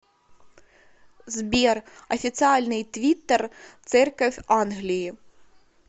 сбер официальный твиттер церковь англии